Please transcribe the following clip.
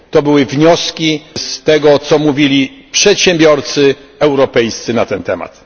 To były wnioski z tego, co mówili przedsiębiorcy europejscy na ten temat.